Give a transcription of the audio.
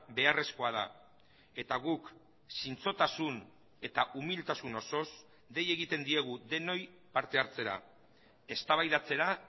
beharrezkoa da eta guk zintzotasun eta umiltasun osoz dei egiten diegu denoi parte hartzera eztabaidatzera